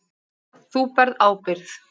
Þú berð ábyrgð.